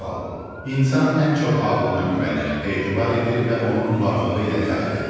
Sual: İnsan ən çox ağlına güvənir, etibar edir və onun varlığı ilə fəxr edir.